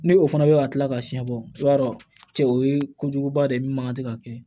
Ni o fana bɛ ka kila ka siɲɛ bɔ i b'a dɔn cɛ o ye kojuguba de ye minnu mankan tɛ ka kɛ